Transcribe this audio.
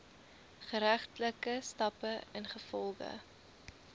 geregtelike stappe ingevolge